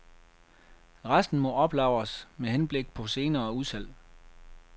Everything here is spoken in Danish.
Resten må oplagres med henblik på senere udsalg.